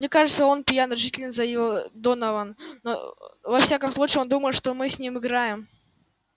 мне кажется он пьян решительно заявил донован но во всяком случае он думает что мы с ним играем